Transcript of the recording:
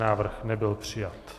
Návrh nebyl přijat.